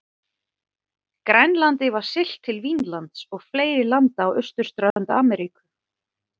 Grænlandi var siglt til Vínlands og fleiri landa á austurströnd Ameríku.